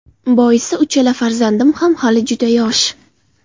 Boisi uchala farzandim ham hali juda yosh.